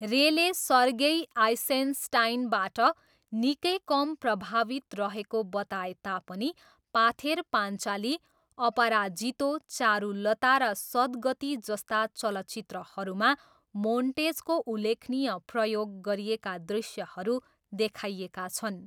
रेले सर्गेई आइसेनस्टाइनबाट निकै कम प्रभावित रहेको बताए तापनि पाथेर पाञ्चाली, अपराजितो, चारुलता र सदगति जस्ता चलचित्रहरूमा मोन्टेजको उल्लेखनीय प्रयोग गरिएका दृश्यहरू देखाइएका छन्।